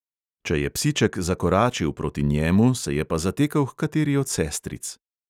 Če je psiček zakoračil proti njemu, se je pa zatekel h kateri od sestric.